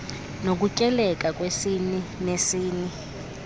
nokutyekela kwesini nesini